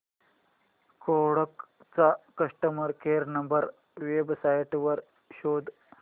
Kodak चा customer care number website वर शोध